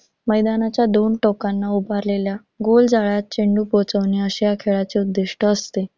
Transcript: मैदानाच्या दोन टोकांना उभारलेल्या गोल जाळ्यात चेंडू पोहोचविणे असे ह्या खेळाचे उद्दिष्ट असते.